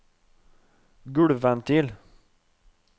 gulvventil